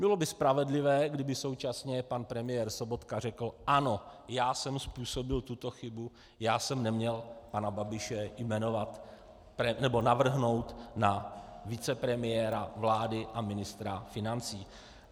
Bylo by spravedlivé, kdyby současně pan premiér Sobotka řekl: Ano, já jsem způsobil tuto chybu, já jsem neměl pana Babiše jmenovat nebo navrhnout na vicepremiéra vlády a ministra financí.